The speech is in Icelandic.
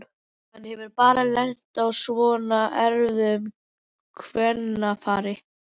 Hann hefur bara lent á svona erfiðu kvennafari